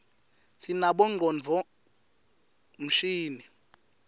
sinabonqcondvo mshini